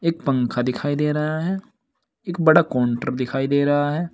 एक पंखा दिखाई दे रहा है एक बड़ा काउंटर दिखाई दे रहा है।